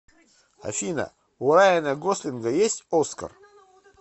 афина у райана гослинга есть оскар